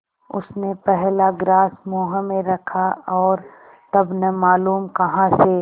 उसने पहला ग्रास मुँह में रखा और तब न मालूम कहाँ से